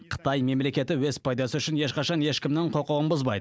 қытай мемлекеті өз пайдасы үшін ешқашан ешкімнің құқығын бұзбайды